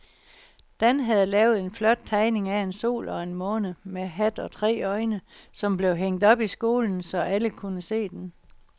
Dan havde lavet en flot tegning af en sol og en måne med hat og tre øjne, som blev hængt op i skolen, så alle kunne se den.